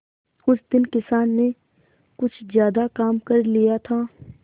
उस दिन किसान ने कुछ ज्यादा काम कर लिया था